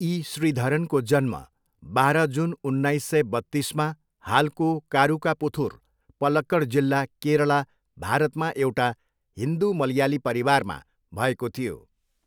ई श्रीधरनको जन्म बाह्र जुन, उन्नाइस सय बत्तिसमा हालको कारुकापुथुर, पलक्कड जिल्ला, केरला, भारतमा एउटा हिन्दू मलयाली परिवारमा भएको थियो।